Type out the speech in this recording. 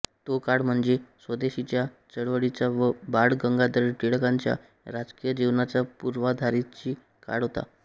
तो काळ म्हणजे स्वदेशीच्या चळवळीचा व बाळ गंगाधर टिळकांच्या राजकीय जीवनाच्या पूर्वाधारींचा काळ होता